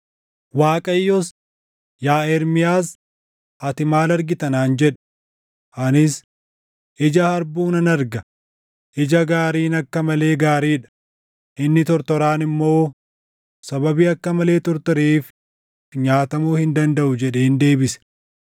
Waaqayyos, “Yaa Ermiyaas, ati maal argita?” naan jedhe. Anis, “Ija harbuu nan arga; ija gaariin akka malee gaarii dha; inni tortoraan immoo sababii akka malee tortoreef nyaatamuu hin dandaʼu” jedheen deebise.